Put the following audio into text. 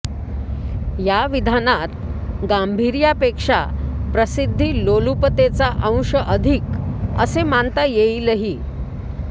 या विधानात गांभीर्यापेक्षा प्रसिद्धीलोलुपतेचा अंश अधिक असे मानता येईलही